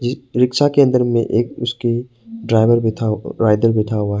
परीक्षा केंद्र में एक उसकी ड्राइवर भी था